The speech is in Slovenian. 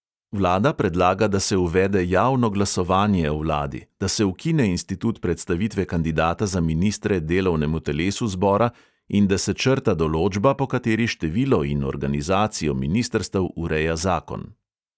Vlada predlaga, da se uvede javno glasovanje o vladi, da se ukine institut predstavitve kandidata za ministre delovnemu telesu zbora in da se črta določba, po kateri število in organizacijo ministrstev ureja zakon.